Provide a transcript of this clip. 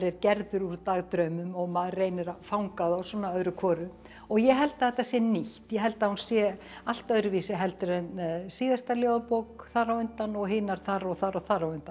gerður úr dagdraumum og maður reynir að fanga þá svona öðru hvoru og ég held að þetta sé nýtt ég held að hún sé allt öðruvísi en síðasta ljóðabók þar á undan og hinar þar og þar og þar á undan